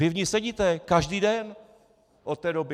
Vy v ní sedíte každý den od té doby.